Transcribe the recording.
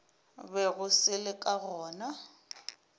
bego se le ka gona